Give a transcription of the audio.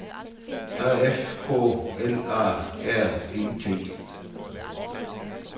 A F K L A R E T